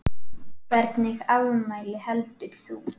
Hvernig afmæli heldur þú?